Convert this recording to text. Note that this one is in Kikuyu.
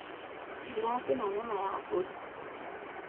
Ndĩracina nyama ya mbũri